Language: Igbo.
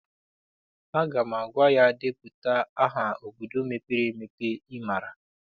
Aga m agwa ya, depụta aha obodo mepere emepe ị maara!